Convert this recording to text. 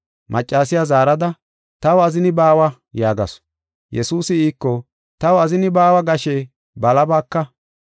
Maccasiya zaarada, “Taw azini baawa” yaagasu. Yesuusi iiko, “Taw azini baawa gashe balabaka.